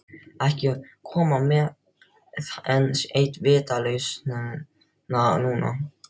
Ekki koma með enn eina vitleysuna núna.